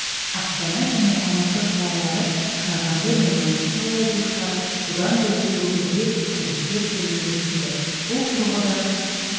астана және алматы қалалары қарағанды мен маңғыстау облыстары бұдан бөлек өңірде тарифтер төмендетілді бұл тұрғыда